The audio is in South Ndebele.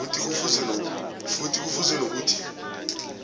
futhi kufuze nokuthi